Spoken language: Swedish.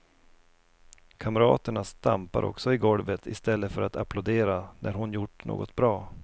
Kamraterna stampar också i golvet istället för att applådera när hon gjort något bra.